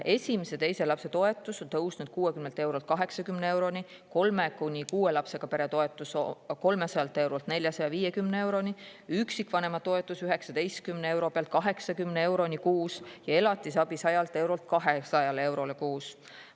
Esimese ja teise lapse toetus on tõusnud 60 eurolt 80 euroni, kolme kuni kuue lapsega pere toetus 300 eurolt 450 euroni, üksikvanema toetus 19 euro pealt 80 euroni kuus ja elatisabi 100 eurolt 200 euroni kuus.